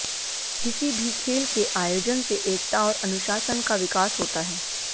किसी भी खेल के आयोजन से एकता और अनुशासन का विकास होता है